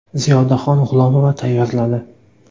Ziyodaxon G‘ulomova tayyorladi.